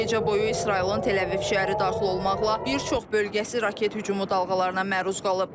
Gecə boyu İsrailin Təl-Əviv şəhəri daxil olmaqla bir çox bölgəsi raket hücumu dalğalarına məruz qalıb.